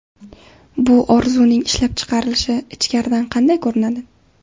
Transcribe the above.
Bu orzuning ishlab chiqarilishi ichkaridan qanday ko‘rinadi?